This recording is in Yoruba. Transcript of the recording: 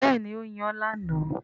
Bẹ́ẹ̀ni, ó yan lánàá